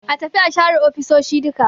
A tafi a share ofisoshi duka